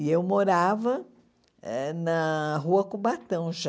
E eu morava eh na Rua Cubatão já.